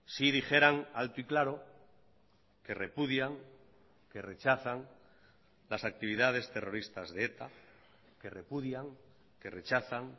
si dijeran alto y claro que repudian que rechazan las actividades terroristas de eta que repudian que rechazan